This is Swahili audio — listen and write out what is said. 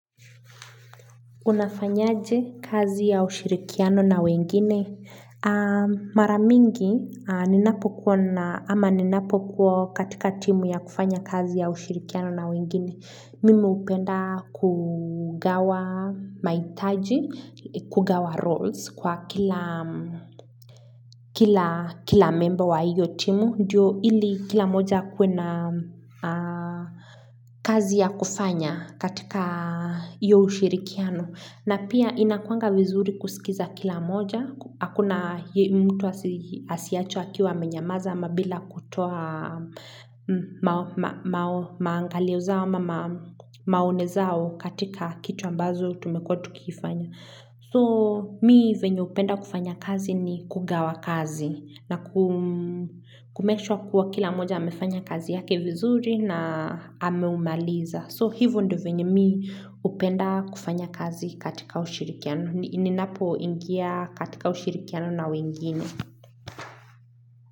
Unafanyaje kazi ya ushirikiano na wengine. Maramingi, ama ninapokuwa katika timu ya kufanya kazi ya ushirikiano na wengine. Mimu upenda kugawa mahitaji, kugawa roles kwa kila member wa hiyo timu. Ndiyo ili kila moja akue na kazi ya kufanya katika iyo ushirikiano. Na pia inakuanga vizuri kusikiza kila moja. Hakuna mtu asiachua akiwa amenyamaza ama bila kutoa maangalio zao maone zao katika kitu ambazo tumekua tu kifanya. So mi venye upenda kufanya kazi ni kugawa kazi na kumeshwa kuwa kila moja hamefanya kazi yake vizuri na hameumaliza. So hivyo ndo venye mi upenda kufanya kazi katika ushirikiano. Ninapo ingia katika ushirikiano na wengine.